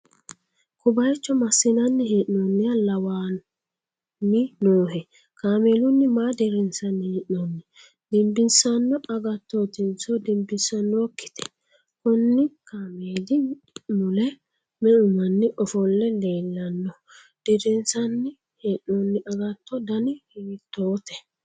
ko bayicho massi'nanni hee'noonniha lawanni noohe? kaameelunni maa dirrinsanni hee'noonni? dinbissanno agattotinso dinbisannokkite? konni kaameeli mule me'u manni ofolle leellanno? dirinsanni hee'noonni agatto dani hiittote?